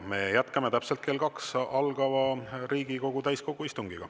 Me jätkame täpselt kell kaks algava Riigikogu täiskogu istungiga.